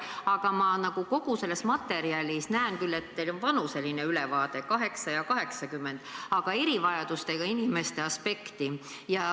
Aga ma kogu selles materjalis näen, et teil on vanuseline ülevaade, 8-aastased ja 80-aastased, aga erivajadustega inimeste aspekt ...